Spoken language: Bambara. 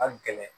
A gɛlɛn